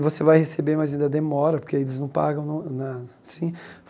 E você vai receber, mas ainda demora, porque eles não pagam no na assim.